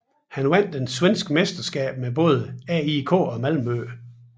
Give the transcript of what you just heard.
Han vandt det svenske mesterskab med både AIK og Malmö